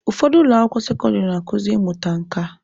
Ụfọdụ ụlọ akwụkwọ sekọndịrị na-akuzi ịmụta nka.